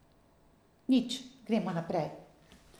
Nič, gremo naprej.